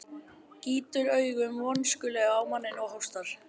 Gýtur augunum vonskulega á manninn og hóstar.